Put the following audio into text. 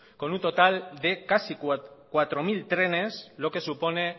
con un total de casi cuatro mil trenes lo que supone